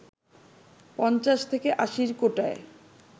৫০ থেকে আশির কোটায়